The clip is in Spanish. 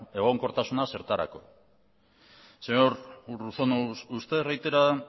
egonkortasuna zertarako señor urruzuno usted reitera